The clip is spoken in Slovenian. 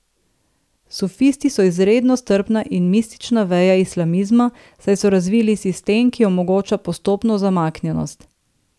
Sufisti so izredno strpna in mistična veja islamizma, saj so razvili sistem, ki omogoča postopno zamaknjenost.